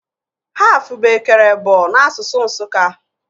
Haf bụ ekere ebọ n'asụsụ Nsụka